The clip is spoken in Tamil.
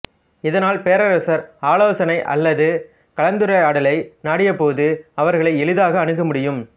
இதனால் பேரரசர் ஆலோசனை அல்லது கலந்துரையாடலை நாடியபோது அவர்களை எளிதாக அணுக முடியும்